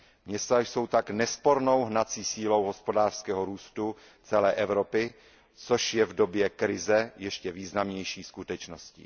Města jsou tak nespornou hnací silou hospodářského růstu celé Evropy, což je v době krize ještě významnější skutečností.